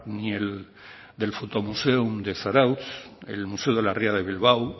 ni el del foto museum de zarautz el museo de la ría de bilbao